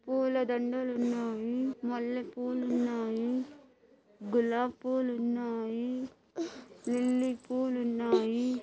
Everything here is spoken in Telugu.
పూల దండలు ఉన్నాయి. మల్లెపూలు ఉన్నాయి. గులాబ్ పూలు ఉన్నాయి. లిల్లీ పూలు ఉన్నాయి.